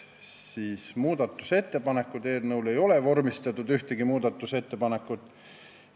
Ühtegi muudatusettepanekut ei ole eelnõu kohta vormistatud.